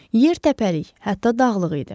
Yer təpəlik, hətta dağlıq idi.